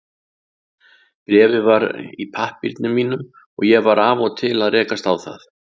Bréfið var í pappírunum mínum og ég var af og til að rekast á það.